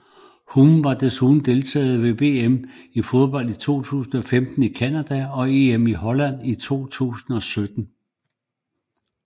Humm har desuden deltaget ved VM i fodbold 2015 i Canada og EM i Holland i 2017